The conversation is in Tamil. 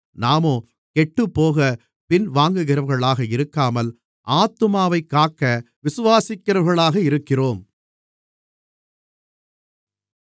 நாமோ கெட்டுப்போகப் பின்வாங்குகிறவர்களாக இருக்காமல் ஆத்துமாவைக் காக்க விசுவாசிக்கிறவர்களாக இருக்கிறோம்